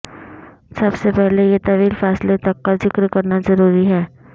سب سے پہلے یہ طویل فاصلے تک کا ذکر کرنا ضروری ہے